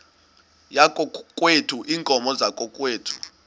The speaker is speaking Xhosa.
yakokwethu iinkomo zakokwethu